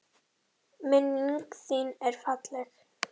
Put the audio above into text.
Minning þin er falleg.